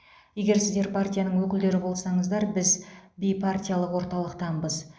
егер сіздер партияның өкілдері болсаңыздар біз бейпартиялық орталықтанбыз